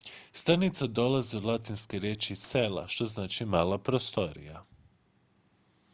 stanica dolazi od latinske riječi cella što znači mala prostorija